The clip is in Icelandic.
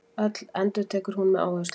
Öll, endurtekur hún með áherslu.